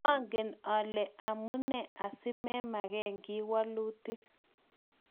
mangen amune asimameken kiy wolutik